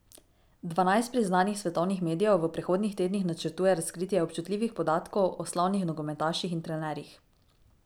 Dvanajst priznanih svetovnih medijev v prihodnjih tednih načrtuje razkritje občutljivih podatkov o slavnih nogometaših in trenerjih.